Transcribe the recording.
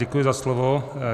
Děkuji za slovo.